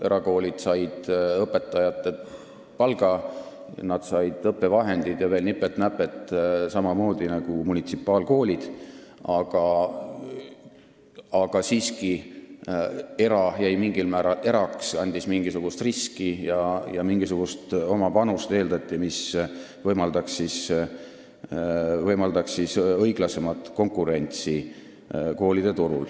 Erakoolid said õpetajate palga, nad said õppevahendid ja veel nipet-näpet samamoodi nagu munitsipaalkoolid, aga siiski, erasektor jäi erasektoriks, ta lõi mingisuguse riski ja eeldati mingisugust oma panust, mis võimaldas õiglasemat konkurentsi.